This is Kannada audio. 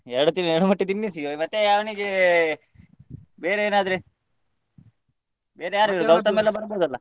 ಎರಡು ತಿ~ ಮೊಟ್ಟೆ ತಿನ್ನಿಸಿ ಮತ್ತೆ ಅವನಿಗೆ ಬೇರೆ ಏನಾದ್ರೆ ಎಲ್ಲ ಬರ್ಬೋದಲ್ಲ?